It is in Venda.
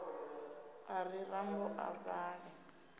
a ri rambo a vhale